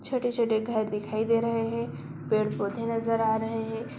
छोटे-छोटे घर दिखाई दे रहे हैं पेड़-पौधे नजर आ रहे हैं।